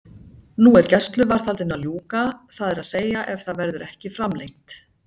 Nú er gæsluvarðhaldinu að ljúka, það er að segja ef það verður ekki framlengt.